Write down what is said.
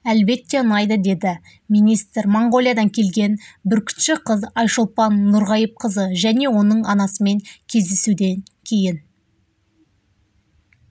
әлбетте ұнайды деді министр моңғолиядан келген бүркітші қыз айшолпан нұрғайыпқызы және оның анасымен кездесуден кейін